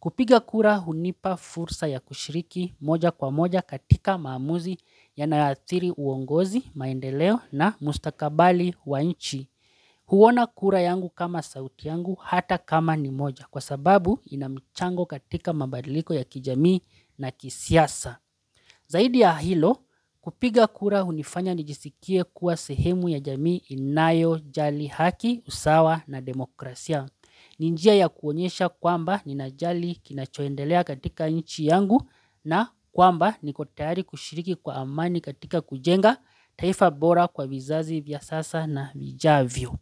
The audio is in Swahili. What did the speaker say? Kupiga kura hunipa fursa ya kushiriki moja kwa moja katika maamuzi yanayoaathiri uongozi maendeleo na mustakabali wa inchi. Huona kura yangu kama sauti yangu hata kama ni moja kwa sababu ina michango katika mabadiliko ya kijamii na kisiasa. Zaidi ya hilo kupiga kura unifanya nijisikie kuwa sehemu ya jamii inayojali haki usawa na demokrasia. Ni njia ya kuonyesha kwamba ninajali kinachoendelea katika inchi yangu na kwamba niko tayari kushiriki kwa amani katika kujenga taifa bora kwa vizazi vya sasa na vijavyo.